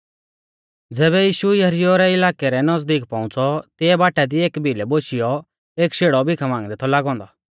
ज़ैबै यीशु यरीहो इलाकै रै नज़दीक पौउंच़ौ तिऐ बाटा दी एकी भिलै बोशियौ एक शेड़ौ भीखा मांगदै थौ लागौ औन्दौ